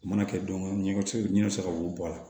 U mana kɛ don o don ɲɔco ɲɛ bɛ se ka wo bɔ a la